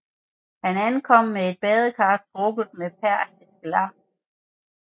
Han ankom med et badekar trukket med persisk lam